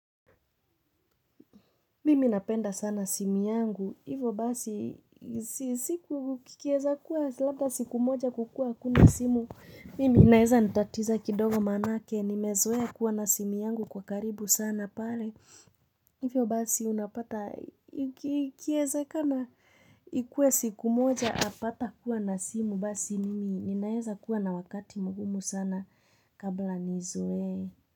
Mimi napenda sana simu yangu, hivyo basi siku kikieza kuwa labda siku moja kukua hakuna simu, mimi inaeza nitatiza kidogo manake, nimezoea kua na simu yangu kwa karibu sana pale, hivyo basi unapata iki kieza kana ikue siku moja apata kuwa na simu basi mimi ninaeza kuwa na wakati mgumu sana kabla nizoee.